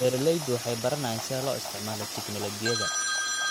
Beeraleydu waxay baranayaan sida loo isticmaalo tignoolajiyada.